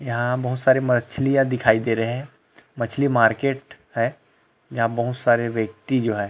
यहाँ बहुत सारी मछलियाँ दिखाई दे रहे है मछली मार्केट है यहाँ बहुत सारे व्यक्ति जो है।